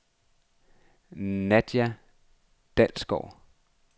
Nadia Dalsgaard